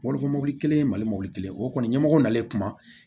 Wolofa mɔbili kelen mali mɔbili kelen o kɔni ɲɛmɔgɔ nan'i kuma